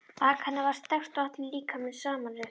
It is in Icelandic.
Bak hennar var sterkt og allur líkaminn samanrekinn.